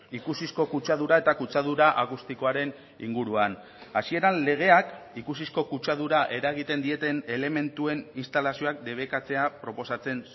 ikusizko kutsadura eta kutsadura akustikoaren inguruan hasieran legeak ikusizko kutsadura eragiten dieten elementuen instalazioak debekatzea proposatzen